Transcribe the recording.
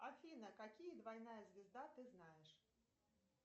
афина какие двойная звезда ты знаешь